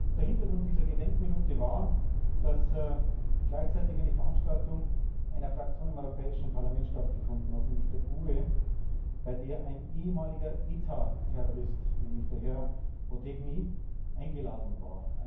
Der Hintergrund dieser Gedenkminute war, dass gleichzeitig eine Veranstaltung einer Fraktion im Europäischen Parlament stattgefunden hat, nämlich der GUE, bei der ein ehemaliger ETA Terrorist, nämlich der Herr Otegi, eingeladen war.